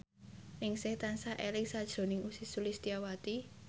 Ningsih tansah eling sakjroning Ussy Sulistyawati